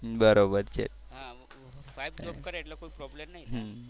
હા wife job કરે એટલે કોઈ problem નહીં.